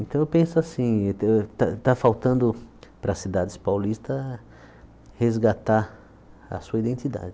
Então eu penso assim, está está faltando para as cidades paulistas resgatar a sua identidade.